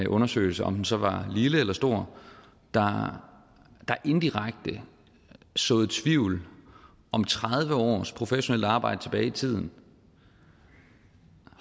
undersøgelse om den så var lille eller stor der indirekte såede tvivl om tredive års professionelt arbejde tilbage i tiden